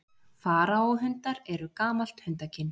Faraó-hundar eru gamalt hundakyn.